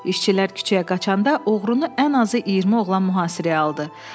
İşçilər küçəyə qaçanda oğrunu ən azı 20 oğlan mühasirəyə aldı.